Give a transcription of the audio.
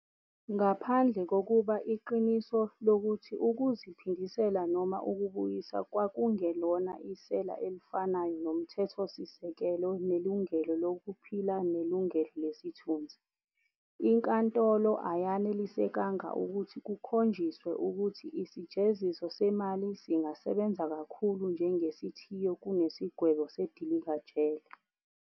Ngaphandle kokuba iqiniso lokuthi ukuziphindisela noma ukubuyisa kwakungelona isela elifanayo nomthethosisekelo nelungelo lokuphila nelungelo lesithunzi, inkantolo ayenelisekanga ukuthi kukhonjisiwe ukuthi isijeziso semali singasebenza kakhulu njengesithiyo kunesigwebo sedilikajele.